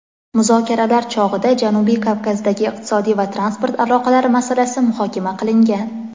muzokaralar chog‘ida Janubiy Kavkazdagi iqtisodiy va transport aloqalari masalasi muhokama qilingan.